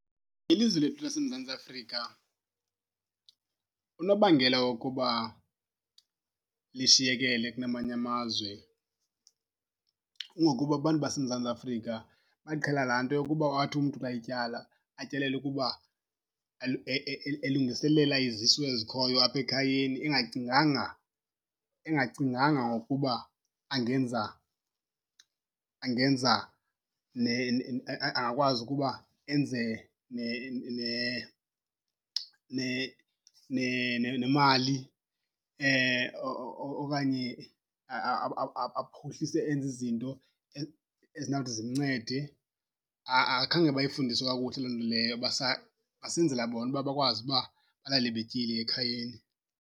Ilizwe lethu laseMzantsi Afrika unobangela wokuba lishiyekele kunamanye amazwe kungokuba abantu baseMzantsi Afrika baqhela laa nto yokuba athi umntu xa etyala atyalele ukuba elungiselela izisu ezikhoyo apha ekhayeni engacinganga, engacinganga ngokuba angenza, angenza angakwazi ukuba enze nemali okanye aphuhlise enze izinto ezinawuthi zimncede. Akhange bayifundiswe kakuhle loo nto leyo, basenzela bona uba bakwazi uba balale betyile ekhayeni.